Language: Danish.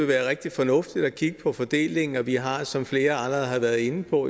være rigtig fornuftigt at kigge på fordelingen og vi har som flere allerede har været inde på